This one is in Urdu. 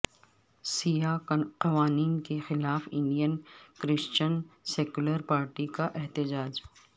سیاہ قوانین کے خلاف انڈین کرسچن سیکولر پارٹی کا احتجاج